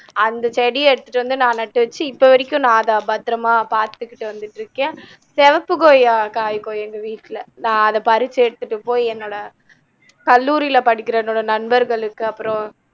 அந்த செடிய எடுத்துட்டு வந்து நா நட்டுவச்சு இப்போ வரைக்கும் நா அதை பத்தரமா பாத்துக்கிட்டு வந்துட்டுருக்கேன் சிவப்புகொய்யா காய்க்கும் எங்க வீட்டில நா அதை பரிச்சு எடுத்துட்டு போய் என்னோட கல்லூரில படிக்கிற என்னோட நண்பர்களுக்கு அப்பறம்